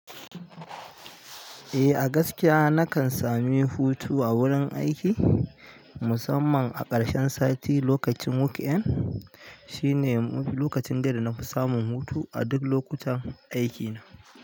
Eh a gaskiya nakan sami hutu a wurin aiki, musamman a ƙarshen sati lokacin weekend. Shine lokacin dai dana fi samun hutu a duk lokutan aikina.